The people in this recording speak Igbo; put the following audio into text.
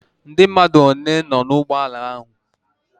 Ndi mmadu one noo na ime ugboala ahu?